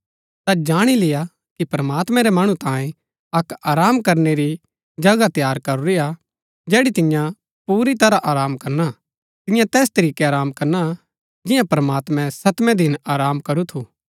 ता जाणी लेय्आ कि प्रमात्मैं रै मणु तांये अक आराम करनै री जगह तैयार करूरी हा जैड़ी तियां पुरी तरह आराम करना तियां तैस तरीकै आराम करना जियां प्रमात्मैं सतमें दिन आराम करू थू